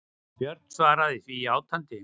Björn svaraði því játandi.